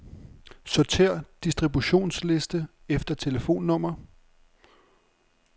Sortér distributionsliste efter telefonnummer.